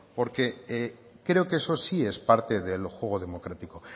porque creo que eso sí es parte del juego democrático